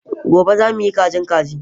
Gobe, za mu yi kajin kaji.